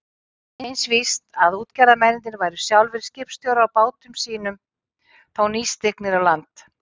Eins víst að útgerðarmennirnir væru sjálfir skipstjórar á bátum sínum eða þá nýstignir á land.